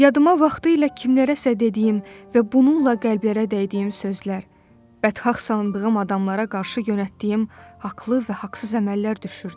Yadıma vaxtilə kimlərəsə dediyim və bununla qəlblərə dəydiyim sözlər, bədxah sandığım adamlara qarşı yönəltdiyim haqlı və haqsız əməllər düşürdü.